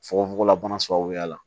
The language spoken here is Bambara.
Fukofugola bana sababuya la